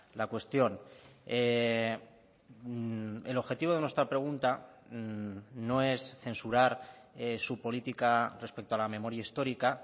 la cuestión el objetivo de nuestra pregunta no es censurar su política respecto a la memoria histórica